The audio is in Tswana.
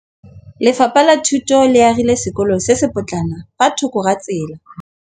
Lefapha la Thuto le agile sekôlô se se pôtlana fa thoko ga tsela.